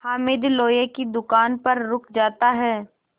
हामिद लोहे की दुकान पर रुक जाता है